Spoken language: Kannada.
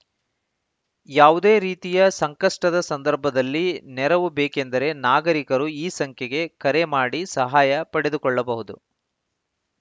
ಯಾವುದೇ ರೀತಿಯ ಸಂಕಷ್ಟದ ಸಂದರ್ಭದಲ್ಲಿ ನೆರವು ಬೇಕೆಂದರೆ ನಾಗರಿಕರು ಈ ಸಂಖ್ಯೆಗೆ ಕರೆ ಮಾಡಿ ಸಹಾಯ ಪಡೆದುಕೊಳ್ಳಬಹುದು